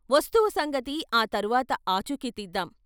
వస్తువు సంగతి ఆ తర్వాత ఆచూకీ తీద్దాం.